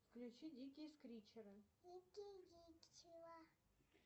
включи дикие скритчеры